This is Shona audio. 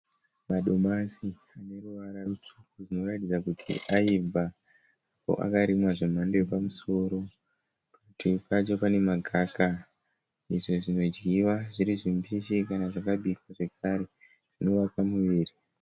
Madomasi aneruvara rutsvuku akarimwa zvemhando yepamusoro uye nemagaka izvo zvinodyiwa zviri zvimbishi kana zvakabikwa.